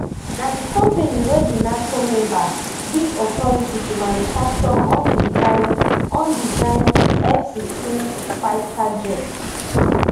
na di company wey di nato member give authority to manufacture usdesigned usdesigned fsixteen fighter jets